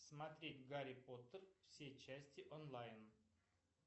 смотреть гарри поттер все части онлайн